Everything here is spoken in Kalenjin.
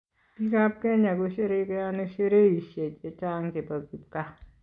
Biikab kenya kosherekeoni sherehishe che chang che bo kipkaa.